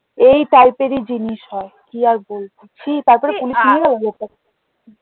এই type এরই জিনিস হয় কি আর বলবো ছি তারপরে পুলিশ